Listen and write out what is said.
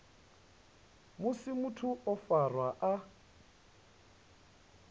musi muthu o farwa a